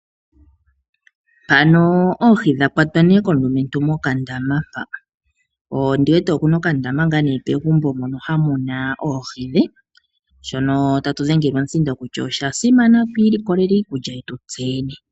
Mpano oohi dha kwatwa nee komulumentu mokandama mpa. Ondi wete okuna okandaama ngaa nee pegumbo mono mu na oohi dhe, shono ta tu dhengele omuhingo kutya osha simana twiilikolele iikulya yetu tse yene.